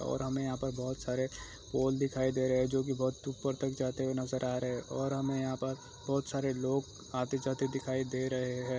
और हमें यहाँ पर बहुत सारे पोल दिखाई दे रहे हैं जो की बहुत ऊपर तक जाते हुए नजर आ रहे हैं और हमें यहाँ पर बहुत सारे लोग आते जाते दिखाई दे रहे हैं।